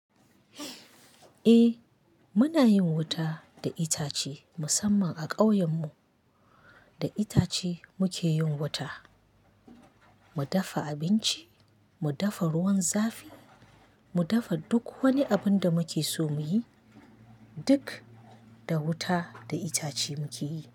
Eh muna yin wuta da itace musamman a ƙauyen mu. Da itace muke yin wuta, mu dafa abinci, mu dafa ruwan zafi, mu dafa duk wani abun da muke so muyi. Duk da wuta da itace muke yi.